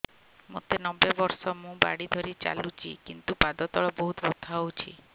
ମୋତେ ନବେ ବର୍ଷ ମୁ ବାଡ଼ି ଧରି ଚାଲୁଚି କିନ୍ତୁ ପାଦ ତଳ ବହୁତ ବଥା ହଉଛି